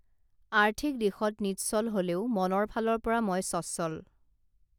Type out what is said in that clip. আৰ্থিক দিশত নিচ্ছল হলেও মনৰ ফালৰ পৰা মই স্বচ্ছল